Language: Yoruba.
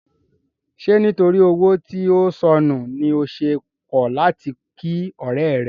Ṣé nítorí owó tí ó sọnù ni o ṣe kọ̀ láti kí ọ̀rẹ́ rẹ?